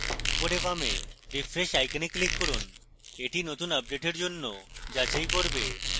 উপরের বামে refresh icon click করুন এটি নতুন আপডেটের জন্য যাচাই করবে